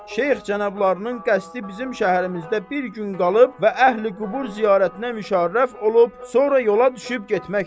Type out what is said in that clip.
Şeyx cənablarının qəsdi bizim şəhərimizdə bir gün qalıb və əhli-qubur ziyarətinə müşərrəf olub, sonra yola düşüb getməkdir.